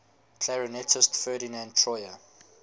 clarinetist ferdinand troyer